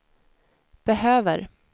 behöver